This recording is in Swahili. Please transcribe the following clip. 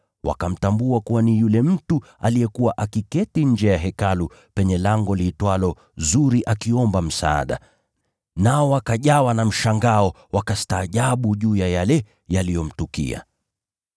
wakamtambua kuwa ni yule mtu aliyekuwa akiketi nje ya Hekalu penye lango liitwalo Zuri akiomba msaada, nao wakajawa na mshangao, wakastaajabu juu ya yale yaliyomtukia.